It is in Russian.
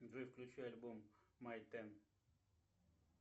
джой включи альбом май тен